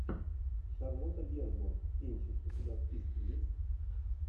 шарлотта генсбур кинчик у тебя в списке есть